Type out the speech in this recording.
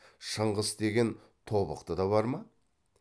шыңғыс деген тобықтыда бар ма